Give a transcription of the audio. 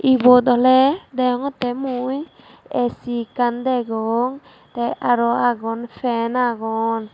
ibot oley degongottey mui aisi ekkan degong tey aro agon fan agon.